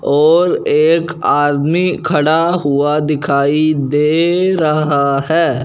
और एक आदमी खड़ा हुआ दिखाई दे रहा हैं।